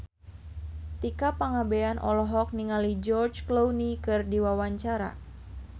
Tika Pangabean olohok ningali George Clooney keur diwawancara